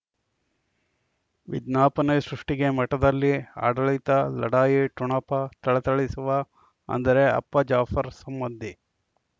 ವಿಜ್ಞಾಪನೆ ಸೃಷ್ಟಿಗೆ ಮಠದಲ್ಲಿ ಆಡಳಿತ ಲಢಾಯಿ ಠೊಣಪ ಥಳಥಳಿಸುವ ಅಂದರೆ ಅಪ್ಪ ಜಾಫರ್ ಸಂಬಂಧಿ